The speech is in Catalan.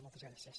moltes gràcies